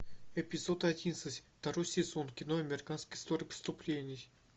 эпизод одиннадцать второй сезон кино американская история преступлений